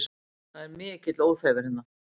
Það er mikill óþefur hérna